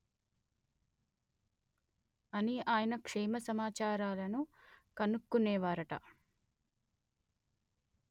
అని ఆయన క్షేమసమాచారాలను కనుక్కొనేవారట